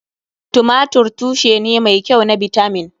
Tumatir tushe ne mai kyau na bitamin.